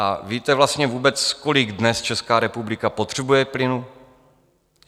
A víte vlastně vůbec, kolik dnes Česká republika potřebuje plynu?